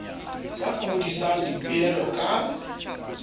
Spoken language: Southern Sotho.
ba ka hodisang dipoelo ka